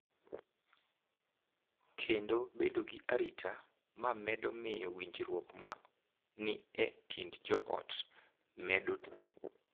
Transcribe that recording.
Kendo bedo gi arita, ma medo miyo winjruok ma ni e kind joot bedo motegno.